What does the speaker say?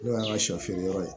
N'o y'an ka shɔ feere yɔrɔ ye